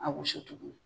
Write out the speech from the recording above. A wusu tuguni